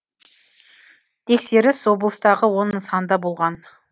тексеріс облыстағы он нысанда болған